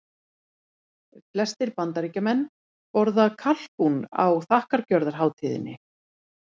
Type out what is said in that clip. Flestir Bandaríkjamenn borða kalkún á þakkargjörðarhátíðinni.